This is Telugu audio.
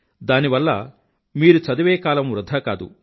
దాని వల్ల మీరు చదివే కాలం వృధా కాదు